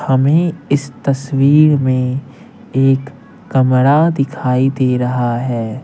हमें इस तस्वीर में एक कमरा दिखाई दे रहा है।